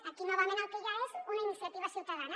aquí novament el que hi ha és una iniciativa ciutadana